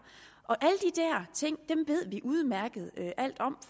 ting ved vi alt om